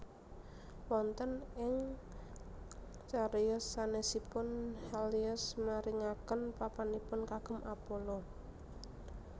Wonten ing cariyos sanèsipun Helios maringaken papanipun kagem Apollo